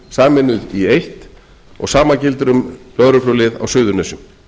sameinuð í eitt og sama gildir um lögreglulið á suðurnesjum